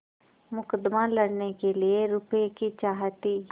मुकदमा लड़ने के लिए रुपये की चाह थी